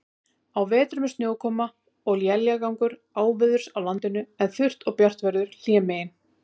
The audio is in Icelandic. Á vetrum er snjókoma og éljagangur áveðurs á landinu, en þurrt og bjart veður hlémegin.